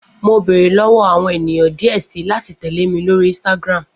Mo beere lọwọ awọn eniyan diẹ sii lati tẹle mi lori Instagram